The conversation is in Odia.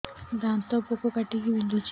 ଦାନ୍ତ ପୋକ କାଟିକି ବିନ୍ଧୁଛି